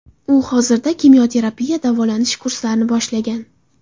U hozirda kimyoterapiya davolanish kurslarini boshlagan.